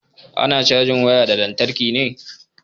Ana cajin waya da lantarki ne